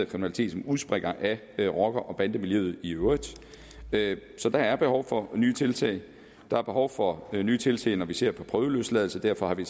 kriminalitet som udspringer af rocker og bandemiljøet i øvrigt så der er behov for nye tiltag der er behov for nye tiltag når vi ser på prøveløsladelse derfor har vi